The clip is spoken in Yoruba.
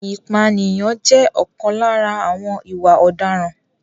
Ìpànìyàn jẹ́ ọ̀kan lára àwọn ìwà ọ̀daràn.